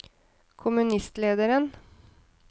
kommunistlederen